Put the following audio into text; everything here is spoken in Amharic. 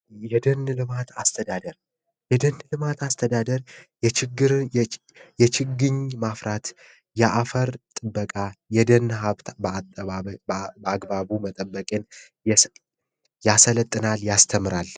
የደን ልማት አስተዳደር፦ የደን ልማት አስተዳደር የደን ማፍራት፣ የአፈር ጥበቃ፣ የደን ልማት አግባቡን በጠበቀ መልኩ ያስተምራል ያሰለጠናል።